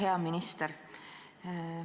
Hea minister!